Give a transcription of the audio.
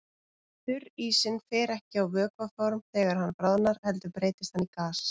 Þurrísinn fer ekki á vökvaform þegar hann bráðnar heldur breytist hann í gas.